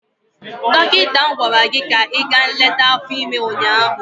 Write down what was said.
Dọkịta ahụ gwara gị ka ị gaa nleta afọ ime ụnyaahụ!